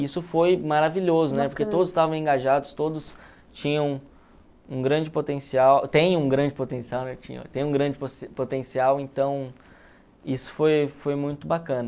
Isso foi maravilhoso, né, porque todos estavam engajados, todos tinham um grande potencial, tem um grande potencial, né, tinham... tem um grande potencial, então isso foi foi muito bacana.